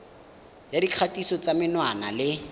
ya dikgatiso tsa menwana le